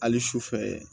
Hali sufɛ